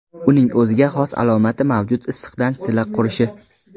Uning o‘ziga xos alomati mavjud issiqdan silla qurishi.